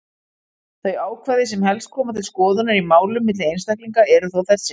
Þau ákvæði sem helst koma til skoðunar í málum milli einstaklinga eru þó þessi: